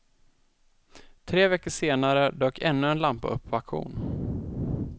Tre veckor senare dök ännu en lampa upp på auktion.